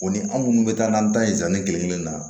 O ni anw minnu bɛ taa n'an ta ye kelen kelen na